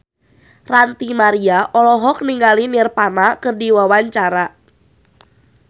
Ranty Maria olohok ningali Nirvana keur diwawancara